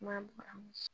Maa